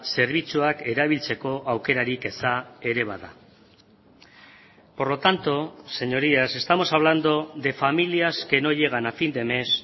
zerbitzuak erabiltzeko aukerarik eza ere bada por lo tanto señorías estamos hablando de familias que no llegan a fin de mes